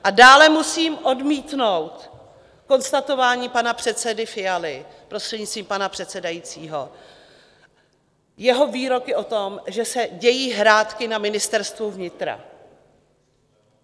A dále musím odmítnout konstatování pana předsedy Fialy, prostřednictvím pana předsedajícího, jeho výroky o tom, že se dějí hrátky na Ministerstvu vnitra.